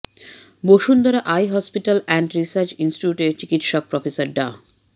Bashundhara eye hospital and research ইনস্টিটিউটের চিকিৎসক professor ডা